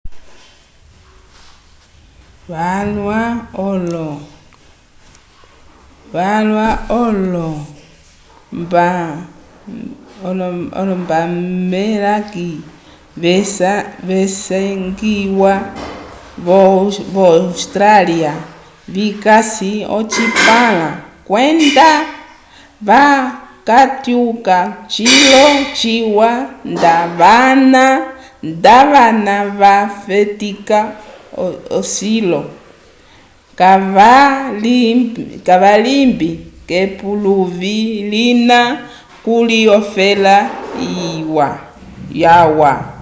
vyalwa olo-boomerangs visangiwa vo-austrália vikasi ocipãla kwenda kavatyuka cilo ciwa nda vana vafetika cilo kavalimbi k'epuluvi lina kuli ofela yalwa